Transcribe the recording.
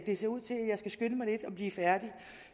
det ser ud til jeg skal skynde mig lidt at blive færdig